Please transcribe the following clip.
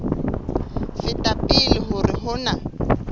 feta pele hore ho na